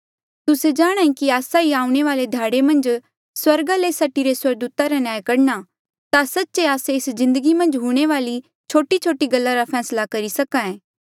तुस्से जाणांहे कि आस्सा ही आऊणें वाले ध्याड़े मन्झ स्वर्गा ले सटीरे स्वर्गदूता रा न्याय करणा ता सच्चे आस्से एस जिन्दगी मन्झ हूंणे वाली छोटीछोटी गल्ला रा फैसला करी सके